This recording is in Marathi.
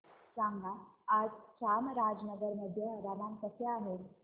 सांगा आज चामराजनगर मध्ये हवामान कसे आहे